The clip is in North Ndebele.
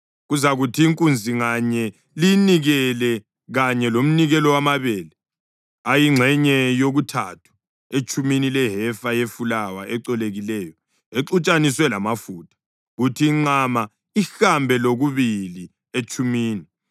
Kuzakuthi inkunzi nganye liyinikele kanye lomnikelo wamabele ayingxenye yokuthathu etshumini lehefa yefulawa ecolekileyo exutshaniswe lamafutha; kuthi inqama ihambe lokubili etshumini;